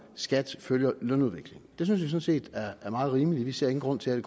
skatten følger lønudviklingen det synes vi sådan set er meget rimeligt vi ser ingen grund til at